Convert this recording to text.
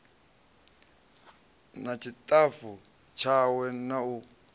na ṱshitafu tshawe na u